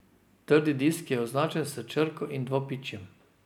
Trdi disk je označen s črko in dvopičjem.